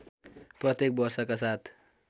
प्रत्येक वर्षका साथ